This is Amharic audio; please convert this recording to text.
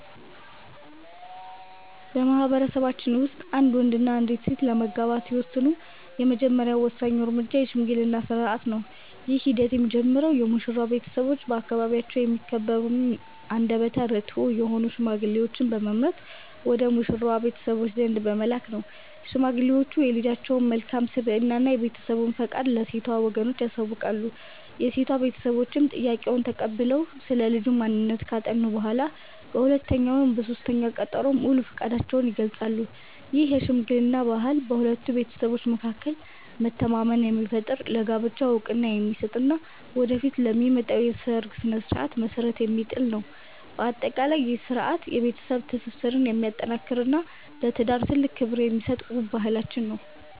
በማኅበረሰባችን ውስጥ አንድ ወንድና አንዲት ሴት ለመጋባት ሲወስኑ፣ የመጀመሪያውና ወሳኙ እርምጃ የሽምግልና ሥርዓት ነው። ይህ ሂደት የሚጀምረው የሙሽራው ቤተሰቦች በአካባቢያቸው የሚከበሩና አንደበተ ርትዑ የሆኑ ሽማግሌዎችን በመምረጥ ወደ ሙሽራዋ ቤተሰቦች ዘንድ በመላክ ነው። ሽማግሌዎቹ የልጃቸውን መልካም ስብዕና እና የቤተሰቡን ፈቃድ ለሴቷ ወገኖች ያሳውቃሉ። የሴቷ ቤተሰቦችም ጥያቄውን ተቀብለው ስለ ልጁ ማንነት ካጠኑ በኋላ፣ በሁለተኛው ወይም በሦስተኛው ቀጠሮ ሙሉ ፈቃዳቸውን ይገልጻሉ። ይህ የሽምግልና ባህል በሁለቱ ቤተሰቦች መካከል መተማመንን የሚፈጥር፣ ለጋብቻው ዕውቅና የሚሰጥ እና ወደፊት ለሚመጣው የሰርግ ሥነ ሥርዓት መሠረት የሚጥል ነው። በአጠቃላይ፣ ይህ ሥርዓት የቤተሰብን ትስስር የሚያጠናክርና ለትዳር ትልቅ ክብር የሚሰጥ ውብ ባህላችን ነው።